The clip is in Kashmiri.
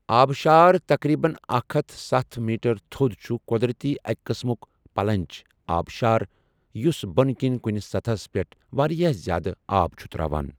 آبشار، تقریباً اکھ ہتھ ستھَ میٹر تھوٚد چھُ قۄدرٔتی أکہِ قٕسمُک 'پلنج' آبشار یُس بٔنہٕ کٔنۍ کٔنہِ سَطَحس پٮ۪ٹھ واریاہ زیادٕ آب چھُ تراوان۔